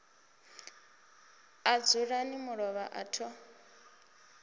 a dzulani mulovha a tho